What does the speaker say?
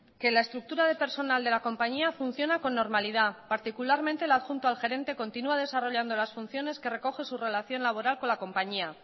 que la estructura del personal de la compañía funciona con normalidad particularmente el adjunto al gerente continúa desarrollando las funciones que recoge su relación laboral con su compañía